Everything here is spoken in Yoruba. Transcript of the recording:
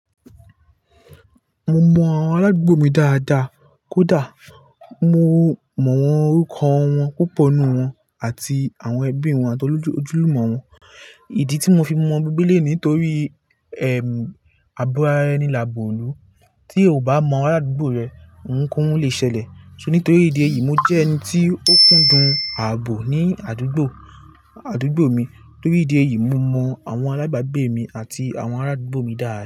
Mo mọ àwọn ará àdúgbò mi dáadáa kódà mo mọ wọn orúkọ wọn púpọ̀ nínú wọn àti àwọn ẹbí wọn àti ojúlùmọ̀ wọn. Ìdí tí mo fi mọ gbogbo léyìí nítorí, ẹm, àbo ará ẹni làbo ilù. Tí o ò bá mọ ará àdúgbò rẹ, òun kì òun le ṣẹlẹ̀. So nítorí ìdí èyí, mo jẹ́ ẹni tí ó kúndùn ààbò ní àdúgbò, àdúgbò mi. Nítorí ìdí èyí, mo mọ àwọn alábàgbé mi àti àwọn ará àdúgbò mi dáadáa.